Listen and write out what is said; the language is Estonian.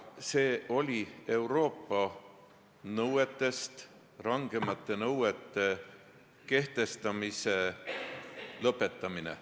See oli Euroopa nõuetest rangemate nõuete kehtestamise lõpetamine.